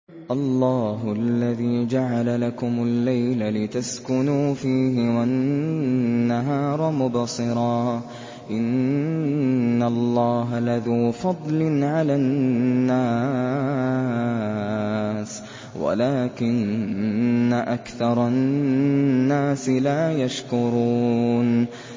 اللَّهُ الَّذِي جَعَلَ لَكُمُ اللَّيْلَ لِتَسْكُنُوا فِيهِ وَالنَّهَارَ مُبْصِرًا ۚ إِنَّ اللَّهَ لَذُو فَضْلٍ عَلَى النَّاسِ وَلَٰكِنَّ أَكْثَرَ النَّاسِ لَا يَشْكُرُونَ